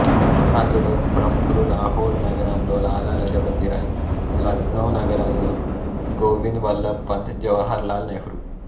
అందులో ప్రముఖులు లాహోరు నగరములో లాలా లజపతిరాయ్ లక్నో నగరములో గోవింద్ వల్లభ్ పంత్ జవహర్లాల్ నెహ్రూ